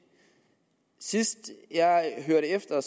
sidst jeg hørte efter